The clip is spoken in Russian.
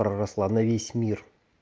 проросла на весь мир